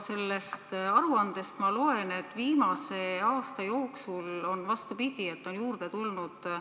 Sellest aruandest ma loen, et viimase aasta jooksul on läinud vastupidi, inimesi on juurde tulnud.